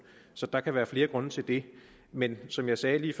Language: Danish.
så der kan være flere grunde til det men som jeg sagde lige